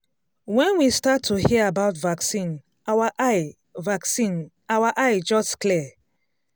when we start to hear about vaccine our eye vaccine our eye just clear.